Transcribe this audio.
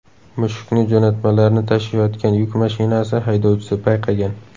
Mushukni jo‘natmalarni tashiyotgan yuk mashinasi haydovchisi payqagan.